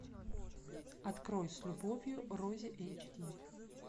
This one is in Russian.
открой с любовью рози эйч ди